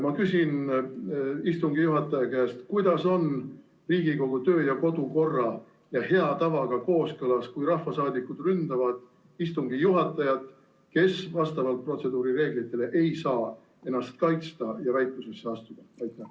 Ma küsin istungi juhataja käest, kuidas on Riigikogu kodu- ja töökorra seaduse ning hea tavaga kooskõlas see, et rahvasaadikud ründavad istungi juhatajat, kes vastavalt protseduurireeglitele ei saa ennast kaitsta ja väitlusesse astuda?